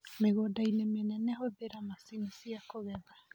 Mĩgũndainĩ mĩnene hũthĩra macini ciakũgetha.